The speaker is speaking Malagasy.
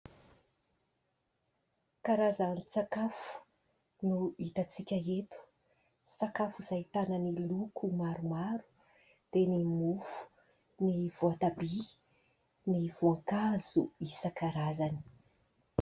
Karazan-tsakafo no hitan-tsika eto, sakafo izay ahitana ny loko maromaro dia ny mofo, ny voatabia, ny voankazo isan-karazany.